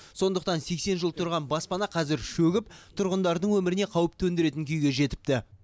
сондықтан сексен жыл тұрған баспана қазір шөгіп тұрғындардың өміріне қауіп төндіретін күйге жетіпті